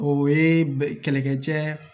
O ye kɛlɛkɛcɛ